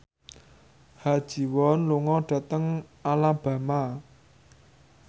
Ha Ji Won lunga dhateng Alabama